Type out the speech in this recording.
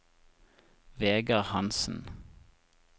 Vegar Hansen